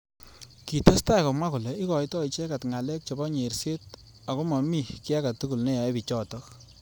Kitestai komwa kole ikoitoi icheket ngalek chebo nyerset ako momi ki age tugul neyae bichotok.